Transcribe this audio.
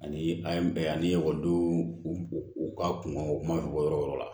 Ani an ye bɛɛ ani ekɔlidenw u ka kunkan u kuma fɔ yɔrɔ la